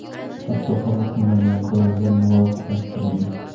Hatto qabul qilinadigan qarorlar muvofiqlashtirilgan.